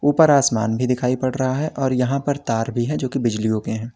ऊपर आसमान भी दिखाई पड़ रहा है और यहां पर तार भी है जो की बिजलीयों के हैं।